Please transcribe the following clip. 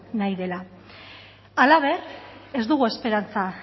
nahi dela halaber ez dugu esperantza